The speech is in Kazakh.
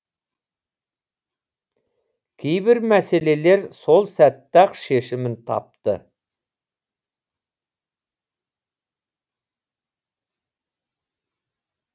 кейбір мәселелер сол сәтте ақ шешімін тапты